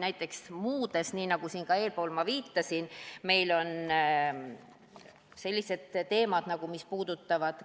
Näiteks muude valdkondade puhul – nagu ma siin enne ka viitasin –, mis puudutavad